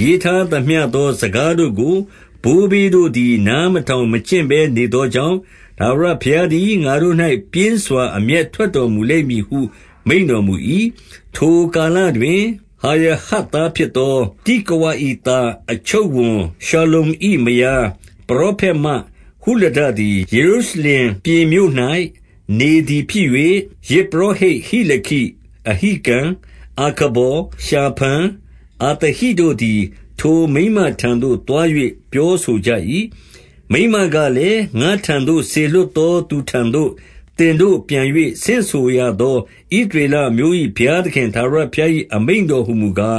ရေးထားသမျှသော စကားတို့ကို ဘိုးဘေးတို့သည် နားမထောင်မကျင့်ဘဲနေသောကြောင့်၊ ထာဝရဘုရား သည် ငါတို့၌ ပြင်းစွာ အမျက်ထွက်တော်မူလိမ့်မည်ဟု မိန့်တော်မူ၏။ 14 ထိုကာလတွင်၊ ဟရဟတ်သားဖြစ်သော တိကဝ ၏သား၊ အချုပ်ဝန်ရှလ္လုံ၏မယား၊ ပရောဖက်မဟုလဒ သည် ယေရုရှလင်ပြင်မြို့၌နေသည် ဖြစ်၍၊ ယဇ်ပုရော ဟိတ် ဟိလခိ၊ အဟိကံ၊ အာခဗော်၊ ရှာဖန်၊ အသဟိတို့ သည်ထိုမိန်းမထံသို့သွား၍ ပြောဆိုကြ၏။ 15 မိန်းမကလည်း၊ ငါ့ထံသို့စေလွှတ်သောသူထံသို့ သင်တို့ပြန်၍ ဆင့်ဆိုရသော ဣသရေလအမျိုး၏ ဘုရား သခင်ထာဝရဘုရား၏ အမိန့်တော်ဟူမူကား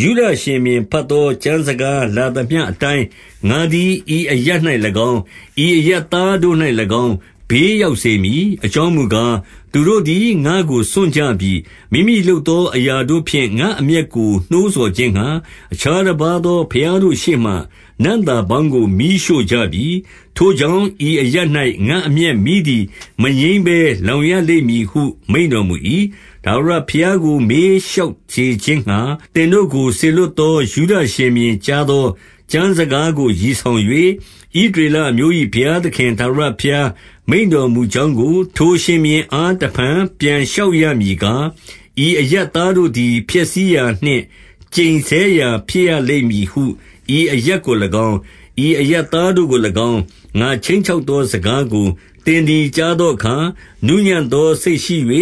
၊ 16 ယုဒရှင်ဘုရင် ဘတ်သော ကျမ်းစကားလာသမျှ အတိုင်း ငါသည် ဤအရပ်၌၎င်း၊ ဤအရပ်သားတို့၌၎င်း၊ ဘေးရောက်စေမည်။ 17 အကြောင်းမူကား၊ သူတို့သည် ငါ့ကိုစွန့်ကြပြီ။ မိမိလုပ်သော အရာတို့ဖြင့် ငါ့အမျက်ကိုနှိုးဆော်ခြင်းငှါ အခြားတပါးသော ဘုရားတို့ရှေ့မှာ နံ့သာပေါင်းကို မီးရှို့ ကြပြီ။ ထိုကြောင့်ဤအရပ်၌ ငါ့အမျက်မီးသည် မငြိမ်းဘဲ လောင်ရလိမ့်မည်ဟု မိန့်တော်မူ၏။ 18 ထာဝရဘုရားကို မေးလျှောက်စေခြင်းငှါ သင်တို့ ကို စေလွှတ်သော ယုဒရှင်ဘုရင် ကြားသော ကျမ်းစကား ကို ရည်ဆောင်၍၊ ဣသရေလအမျိုး ၏ဘုရားသခင် ထာဝရဘုရားမိန့်တော်မူကြောင်းကို ထိုရှင်ဘုရင်အား တဖန် ပြန်လျှောက်ရမည်ကား၊ 19 ဤအရပ်သားတို့သည် ဖျက်ဆီးရာနှင့်ကျိန်ဆဲရာ ဖြစ်ရကြလိမ့်မည်ဟု ဤအရပ်ကို၎င်း၊ ဤအရပ်သား တို့ကို၎င်း၊ ငါခြိမ်းချောက်သော စကားကို သင်သည် ကြား သောအခါ၊ နူးညံ့သောစိတ်ရှိ၍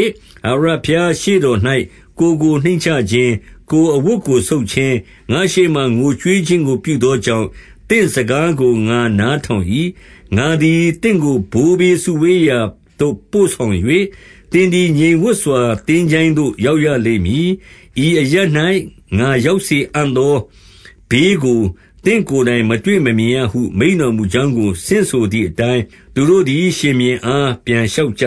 ထာဝရဘုရားရှေ့တော်၌ ကိုယ်ကိုနှိမ့်ချခြင်း၊ ကိုယ်အဝတ်ကိုဆုတ်ခြင်း၊ ငါ့ရှေ့မှာ ငိုကြွေးခြင်းကို ပြုသောကြောင့် သင့်စကားကို ငါနား ထောင်၏။ 20 ငါသည်သင့်ကို ဘိုးဘေးစုဝေးရာသို့ပို့ဆောင်၍၊ သင်သည် ငြိမ်ဝပ်စွာသင်္ချိုင်းသို့ ရောက်ရလိမ့်မည်။ ဤအရပ်၌ ငါရောက်စေအံ့သော ဘေးကို သင့်ကိုယ်တိုင် မတွေ့မမြင်ရဟု မိန့်တော်မူကြောင်းကို ဆင့်ဆိုသည် အတိုင်း သူတို့သည် ရှင်ဘုရင်အား ပြန်လျှောက်ကြ